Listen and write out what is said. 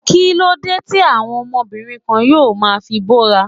Kíló dé tí àwọn obìnrin kan yóò ma fi bóra?